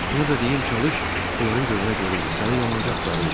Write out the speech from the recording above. Onu da deyim çalış, onların gözünə görünmə, səni yamanca axtarırlar.